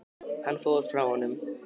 Hann fór frá honum.